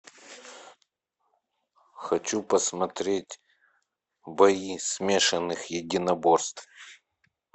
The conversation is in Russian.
хочу посмотреть бои смешанных единоборств